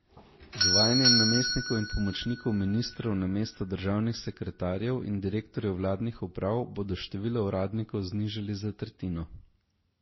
Z uvajanjem namestnikov in pomočnikov ministrov namesto državnih sekretarjev in direktorjev vladnih uprav bodo število uradnikov znižali za tretjino.